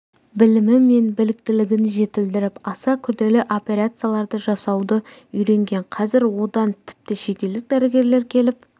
білімі мен біліктілігін жетілдіріп аса күрделі операцияларды жасауды үйренген қазір одан тіпті шетелдік дәрігерлер келіп